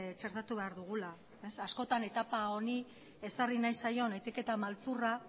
txertatu behar dugula askotan etapa honi ezarri nahi zaion etiketa maltzurra